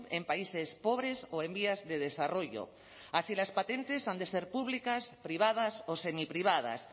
en países pobres o en vías de desarrollo así las patentes han de ser públicas privadas o semiprivadas